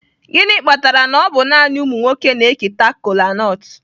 Gịnị kpatara na ọ bụ naanị ụmụ nwoke na-eketa kolanut?